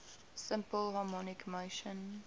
simple harmonic motion